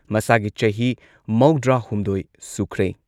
ꯃꯁꯥꯒꯤ ꯆꯍꯤ ꯃꯧꯗ꯭ꯔꯥꯍꯨꯝꯗꯣꯏ ꯁꯨꯈ꯭ꯔꯦ꯫